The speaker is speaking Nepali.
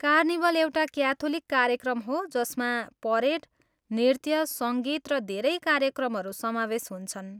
कार्निभल एउटा क्याथोलिक कार्यक्रम हो जसमा परेड, नृत्य, सङ्गीत र धेरै कार्यक्रमहरू समावेश हुन्छन्।